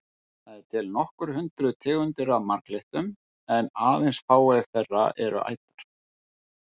Það eru til nokkur hundruð tegundir af marglyttum en aðeins fáeinar þeirra eru ætar.